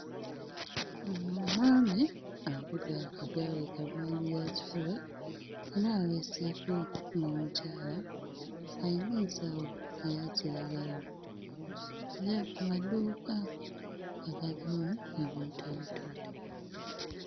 Ono omwami avuga akagaali ka maanyigakifuba era aweeseeko n'omukyala ayina ensawo eya kiragala tha ku maduuka agalimu ebintu ebitundibwa.